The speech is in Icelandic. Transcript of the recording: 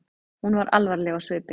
Hún var alvarleg á svipinn.